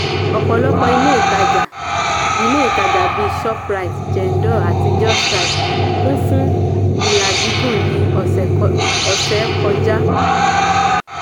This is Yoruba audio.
ọ̀pọ̀lọpọ̀ ilé ìtàjà ilé ìtàjà bíi shoprite jendol àti justrite kun fún ilà gígùn ní ọ̀sẹ̀ kọjá.